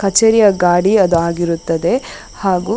ಕಚೇರಿಯ ಗಾಡಿ ಅದು ಆಗಿರುತ್ತದೆ ಹಾಗು --